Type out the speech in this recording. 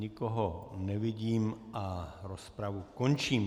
Nikoho nevidím a rozpravu končím.